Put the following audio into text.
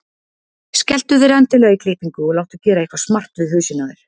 Skelltu þér endilega í klippingu og láttu gera eitthvað smart við hausinn á þér.